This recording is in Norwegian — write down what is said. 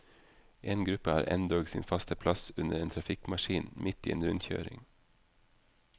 En gruppe har endog sin faste plass under en trafikkmaskin midt i en rundkjøring.